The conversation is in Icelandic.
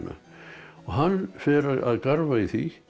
og hann fer að garfa í því